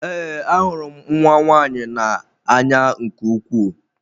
Ee, ahụrụ m nwa nwaanyị na-anya nke ukwuu.